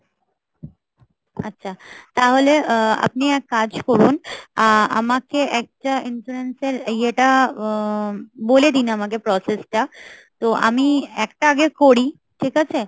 আচ্ছা তাহলে আহ আপনি এক কাজ করুন, আহ আমাকে একটা insurance এর ইয়েটা আহ বলে দিন আমাকে process টা তো আমি একটা আগে করি, ঠিক আছে।